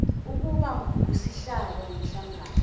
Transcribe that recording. ukuba ngusihlalo womhlangano